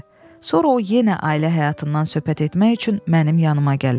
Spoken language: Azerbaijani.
Sonra o yenə ailə həyatından söhbət etmək üçün mənim yanımaq gəlirdi.